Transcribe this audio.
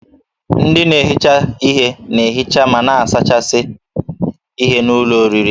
Ndị na-ehicha ihe na-ehicha ma na-asachasị ihen'ụlọ oriri